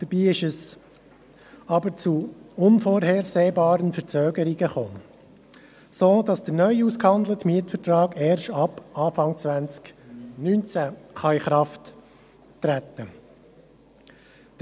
Dabei kam es jedoch zu unvorhersehbaren Verzögerungen, sodass der neu ausgehandelte Mietvertrag erst ab Anfang 2019 in Kraft treten kann.